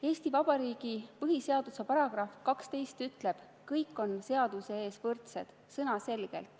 Eesti Vabariigi põhiseaduse § 12 ütleb selgelt: "Kõik on seaduse ees võrdsed.